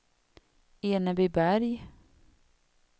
Enebyberg